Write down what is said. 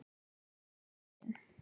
Afi minn.